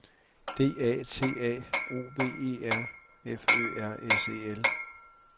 D A T A O V E R F Ø R S E L